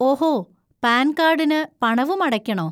ഓഹോ, പാൻ കാഡിന് പണവും അടയ്ക്കണോ?